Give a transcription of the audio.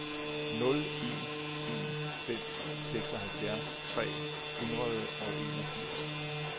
nul en en fem seksoghalvfjerds tre hundrede og enogfirs